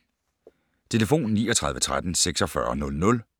Telefon: 39 13 46 00